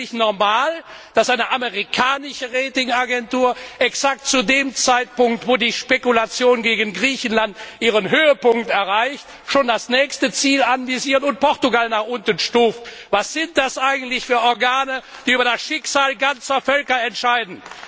Ist es eigentlich normal, dass eine amerikanische Ratingagentur exakt zu dem Zeitpunkt, zu dem die Spekulation gegen Griechenland ihren Höhepunkt erreicht, schon das nächste Ziel anvisiert und Portugal nach unten stuft? Was sind das eigentlich für Organe, die über das Schicksal ganzer Völker entscheiden?